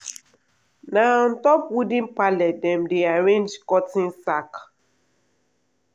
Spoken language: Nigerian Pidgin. na on top wooden pallet dem dey arrange cotton sack.